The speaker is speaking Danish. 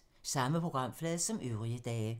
Samme programflade som øvrige dage